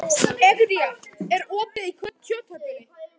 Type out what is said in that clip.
Egedía, er opið í Kjöthöllinni?